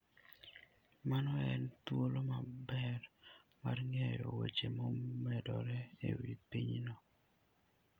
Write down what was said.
Mano en thuolo maber mar ng'eyo weche momedore e wi pinyno.